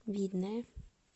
видное